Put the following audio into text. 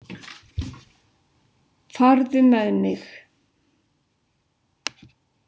Farðu með mig.